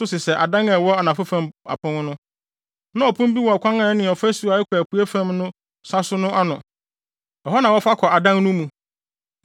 nso sesɛ adan a ɛwɔ anafo fam apon no. Na ɔpon bi wɔ ɔkwan a ɛne ɔfasu a ɛkɔ apuei fam no sa so no ano, ɛhɔ na wɔfa kɔ adan no mu.